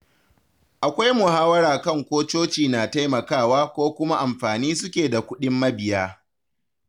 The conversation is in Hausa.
Akwai muhawara kan ko coci na taimakawa ko kuma amfani suke da kuɗin mabiya.